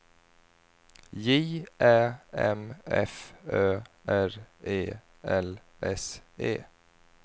J Ä M F Ö R E L S E